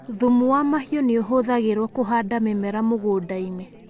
Thumu wa mahiũ ni ũhũthagirwo kũhanda mĩmera mũgũnda-ini.